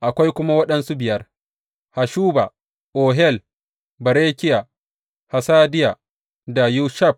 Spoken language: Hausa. Akwai kuma waɗansu biyar, Hashuba, Ohel, Berekiya, Hasadiya da Yushab